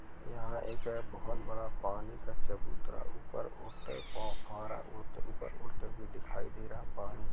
यहाँ एक बोहत बड़ा पानी का चबूतरा ऊपर ऊपर उठता व दिखाई दे रहा। पानी--